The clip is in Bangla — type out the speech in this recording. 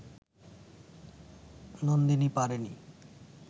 নন্দিনী পারেনি